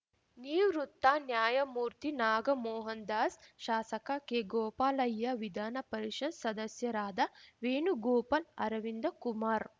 ನಿವೃತ್ತ ನ್ಯಾಯಮೂರ್ತಿ ನಾಗಮೋಹನ್ ದಾಸ್‌ ಶಾಸಕ ಕೆಗೋಪಾಲಯ್ಯ ವಿಧಾನ ಪರಿಷತ್‌ ಸದಸ್ಯರಾದ ವೇಣುಗೋಪಾಲ್‌ ಅರವಿಂದ ಕುಮಾರ್‌